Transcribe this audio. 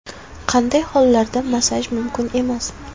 Qanday hollarda massaj mumkin emas?